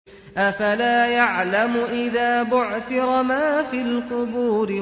۞ أَفَلَا يَعْلَمُ إِذَا بُعْثِرَ مَا فِي الْقُبُورِ